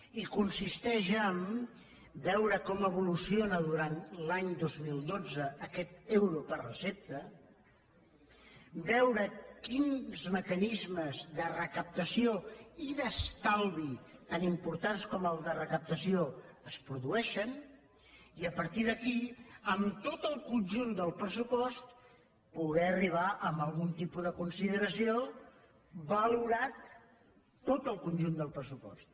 i consisteix a veure com evoluciona durant l’any dos mil dotze aquest euro per recepta veure quins mecanismes de recaptació i d’estalvi tan importants com els de recaptació es produeixen i a partir d’aquí en tot el conjunt del pressupost poder arribar a algun tipus de consideració valorat tot el conjunt del pressupost